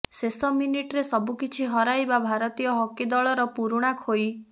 ଶେଷ ମିନିଟ୍ରେ ସବୁକିଛି ହରାଇବା ଭାରତୀୟ ହକି ଦଳର ପୁରୁଣା ଖୋଇ